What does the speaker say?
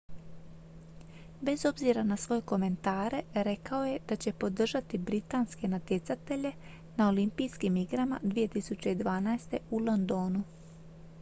bez obzira na svoje komentare rekao je da će podržati britanske natjecatelje na olimpijskim igrama 2012. u londonu